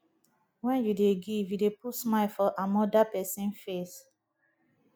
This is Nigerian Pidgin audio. wen you dey give you dey put smile for amoda pesin face